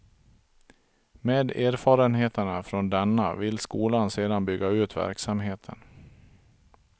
Med erfarenheterna från denna vill skolan sedan bygga ut verksamheten.